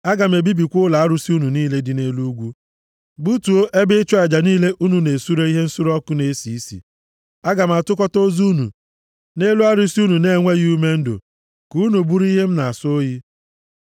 Aga m ebibikwa ụlọ arụsị unu niile dị nʼelu ugwu, gbutuo ebe ịchụ aja niile unu na-esure ihe nsure ọkụ na-esi isi. Aga m atụkọta ozu unu nʼelu arụsị unu na-enweghị ume ndụ, ka unu bụrụ ihe m na-asọ oyi.